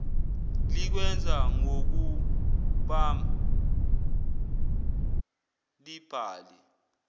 likwenza ngokubam libhale